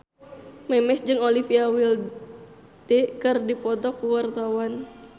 Memes jeung Olivia Wilde keur dipoto ku wartawan